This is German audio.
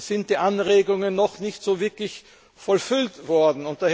Da sind die Anregungen noch nicht wirklich vollfüllt worden.